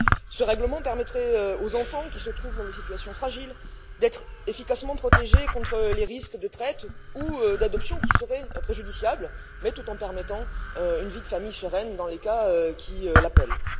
Ce règlement permettrait aux enfants qui se trouvent dans des situations fragiles d'être efficacement protégés contre les risques de traite ou d'adoption qui seraient préjudiciables, tout en permettant une vie de famille sereine dans les cas qui l'appellent.